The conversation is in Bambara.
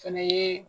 Fɛnɛ ye